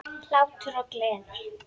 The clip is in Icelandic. Hlátur og gleði.